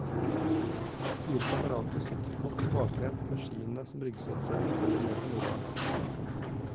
Fire kamerater sitter godt tilbakelent med skiene som ryggstøtte og følger med på moroa.